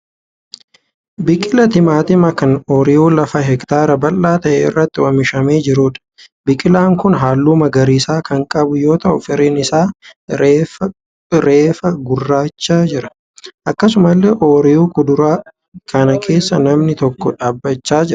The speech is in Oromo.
Biqilaa timaantimaa kan oyiruu lafa hektaara bal'aa ta'e irratti oomishamee jiruudha. Biqilaan kun halluu magariisa kan qabu yoo ta'u firiin isaa reefa guddachaa jira. Akkasumallee oyiruu kuduraa kana keessa namni tokko dhaabbachaa jira.